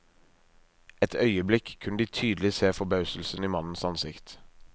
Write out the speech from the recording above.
Et øyeblikk kunne de tydelig se forbauselsen i mannens ansikt.